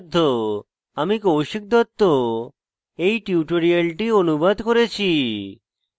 আমি কৌশিক দত্ত এই টিউটোরিয়ালটি অনুবাদ করেছি